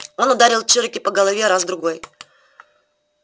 он ударил чероки по голове раз другой